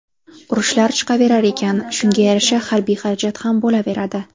Urushlar chiqaverar ekan, shunga yarasha harbiy xarajat ham bo‘laveradi.